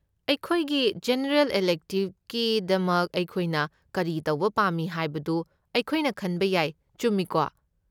ꯑꯩꯈꯣꯏꯒꯤ ꯖꯦꯅꯔꯦꯜ ꯏꯂꯦꯛꯇꯦꯕꯀꯤꯗꯃꯛ ꯑꯩꯈꯣꯏꯅ ꯀꯔꯤ ꯇꯧꯕ ꯄꯥꯝꯃꯤ ꯍꯥꯏꯕꯗꯨ ꯑꯩꯈꯣꯏꯅ ꯈꯟꯕ ꯌꯥꯏ, ꯆꯨꯝꯃꯤꯀꯣ?